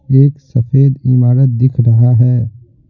एक सफेद इमारत दिख रहा है।